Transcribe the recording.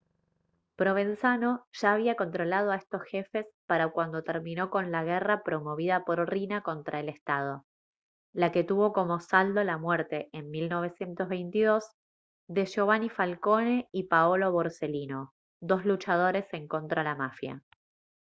provenzano ya había controlado a estos jefes para cuando terminó con la guerra promovida por riina contra el estado la que tuvo como saldo la muerte en 1922 de giovanni falcone y paolo borsellino dos luchadores en contra la mafia»